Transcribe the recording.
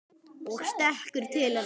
Og stekkur til hennar.